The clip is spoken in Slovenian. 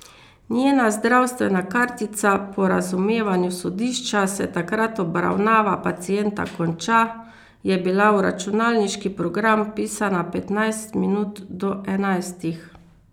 Njena zdravstvena kartica, po razumevanju sodišča se takrat obravnava pacienta konča, je bila v računalniški program vpisana petnajst minut do enajstih.